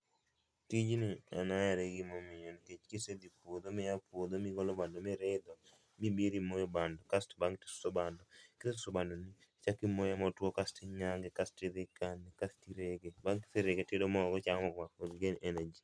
Tijni an ahere gi gimomiyo nikech kisedhi puodho miya puodho migolo bando miridho mibiro imoyo bando kaso bang' suso bando. Kisesuso bando ni ichak imoye motuo, kasto inyange kasto idhi ikane, kasto irege, bang' kiserege tiyudo mogo ichamo mondo i gain energy